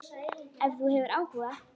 Ef þú hefur áhuga.